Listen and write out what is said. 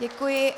Děkuji.